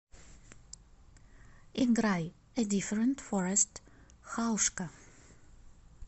играй э диферент форест хаушка